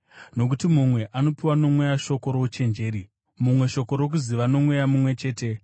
Nokuti mumwe anopiwa noMweya shoko rouchenjeri, mumwe shoko rokuziva noMweya mumwe chete,